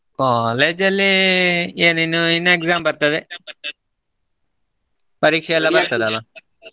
college ಲ್ಲಿ ಏನ ಇನ್ನು ಇನ್ನ exam ಬರ್ತದೆ ಪರೀಕ್ಷೆ ಎಲ್ಲಾ ಬರ್ತದಲ್ಲ ಅಲ್ಲಾ.